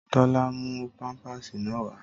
Tólá mú páńpásì náà wà